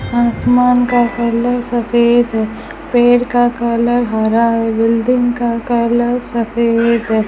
आसमान का कलर सफेद है पेड़ का कलर हरा है बिल्डिंग का कलर सफेद है।